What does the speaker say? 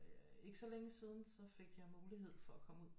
Ikke så længe siden så fik jeg mulighed for at komme ud